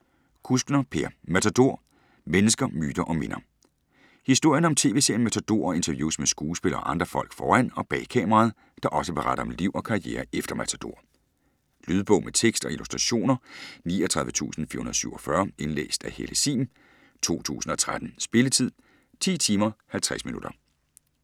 Kuskner, Per: Matador: mennesker, myter & minder Historien om tv-serien Matador og interviews med skuespillere og andre folk foran og bag kameraet, der også beretter om liv og karriere efter Matador. Lydbog med tekst og illustrationer 39447 Indlæst af Helle Sihm, 2013. Spilletid: 10 timer, 50 minutter.